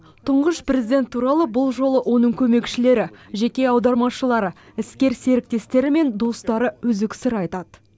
тұңғыш президент туралы бұл жолы оның көмекшілері жеке аудармашылары іскер серіктестері мен достары үзік сыр айтады